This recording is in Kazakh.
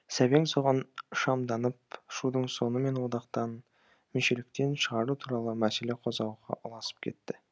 сәбең соған шамданып шудың соңы мені одақтан мүшеліктен шығару туралы мәселе қозғауға ұласып кетті